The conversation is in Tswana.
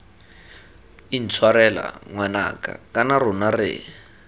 intshwarela ngwanaka kana rona re